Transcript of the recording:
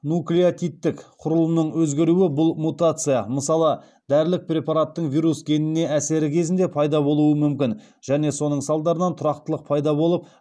нуклеотидтік құрылымның өзгеруі бұл мутация мысалы дәрілік препараттың вирус геніне әсері кезінде пайда болуы мүмкін және соның салдарынан тұрақтылық пайда болып